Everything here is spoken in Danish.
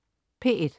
P1: